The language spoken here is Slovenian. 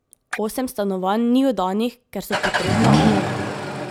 Osem stanovanj ni oddanih, ker so potrebna obnove.